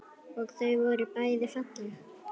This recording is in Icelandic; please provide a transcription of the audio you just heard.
Og þau voru bæði falleg.